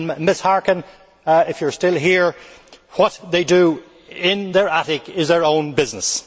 Ms Harkin, if you are still here, what they do in their attic is their own business.